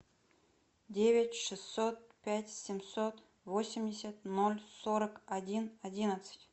девять шестьсот пять семьсот восемьдесят ноль сорок один одиннадцать